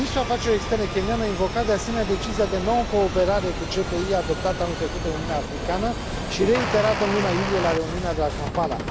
2. Ministrul afacerilor externe kenyan a invocat de asemenea decizia de noncooperare cu CPI adoptată anul trecut de Uniunea Africană și reiterată în luna iulie la reuniunea de la Kampala.